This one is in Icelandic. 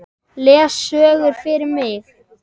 Les sögur fyrir mig.